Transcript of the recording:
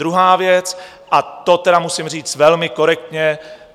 Druhá věc - a to tedy musím říct velmi korektně.